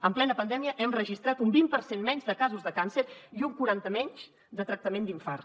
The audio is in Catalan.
en plena pandèmia hem registrat un vint per cent menys de casos de càncer i un quaranta menys de tractament d’infart